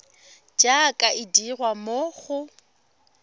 jaaka e dirwa mo go